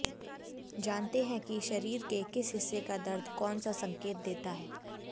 जानते हैं कि शरीर के किस हिस्से का दर्द कौन सा संकेत देता है